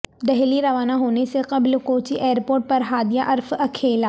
دہلی روانہ ہونے سے قبل کوچی ائیر پورٹ پر ہادیہ عرف اکھیلا